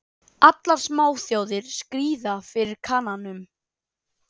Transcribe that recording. Allar smáþjóðir skríða fyrir Kananum.